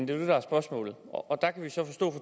det der er spørgsmålet og der kan vi så forstå